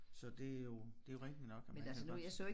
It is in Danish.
Så det jo det jo rigtigt nok at man kan godt